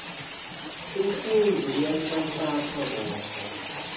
umfundzi uyanhlanhlatsa kodvwa